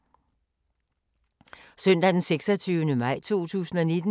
Søndag d. 26. maj 2019